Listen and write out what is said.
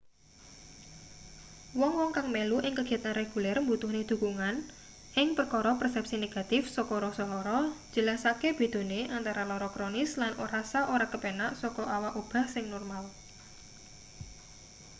wong-wong kang melu ing kegiatan reguler mbutuhne dukungan ing perkara persepsi negatif saka rasa lara njelasake bedane antara lara kronis lan rasa ora kepenak saka awak obah sing normal